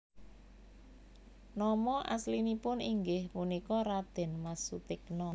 Nama aslinipun inggih punika Radén Mas Sutikna